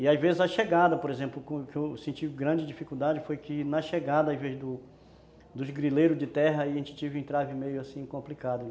E, às vezes, a chegada, por exemplo, que que eu senti grande dificuldade, foi que, na chegada, ao invés do dos grileiros de terra, aí a gente teve um entrave meio, assim, complicado, né?